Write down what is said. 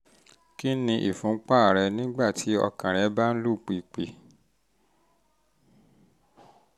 kí ni ìfúnpá ir rẹ nígbà tí ọkàn rẹ́ bá ń lù pìpì?